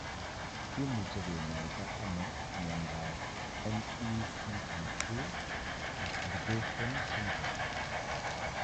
Kimuche kinyaita ano miondap MECP2 duplication syndrome?